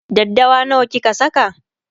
daddawa nawa kika Saka?